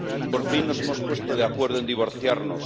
Por fin nos hemos puesto de acuerdo en divorciarnos.